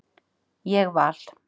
Ég val